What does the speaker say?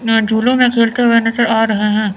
यहां झूले में खेलते हुए नजर आ रहे हैं।